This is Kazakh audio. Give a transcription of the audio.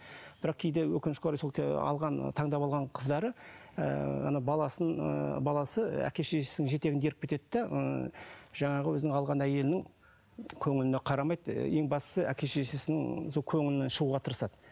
бірақ кейде өкінішке орай сол ыыы алған таңдап алған қыздары ыыы ана баласын ы баласы әке шешесінің жетегіне еріп кетеді де ы жаңағы өзінің алған әйелінің көңіліне қарамайды ең бастысы әке шешесінің сол көңілінен шығуға тырысады